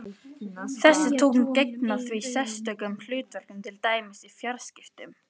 Þessi tungl gegna því sérstökum hlutverkum, til dæmis í fjarskiptum.